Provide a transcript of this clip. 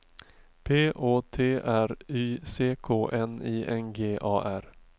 P Å T R Y C K N I N G A R